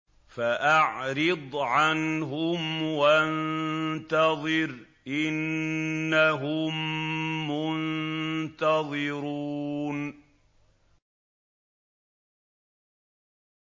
فَأَعْرِضْ عَنْهُمْ وَانتَظِرْ إِنَّهُم مُّنتَظِرُونَ